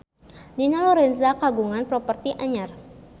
Dina Lorenza kagungan properti anyar